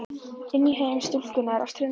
Inn í heim stúlkunnar á ströndinni.